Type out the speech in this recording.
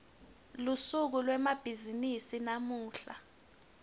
lusuku lwemabhizimisi lamuhla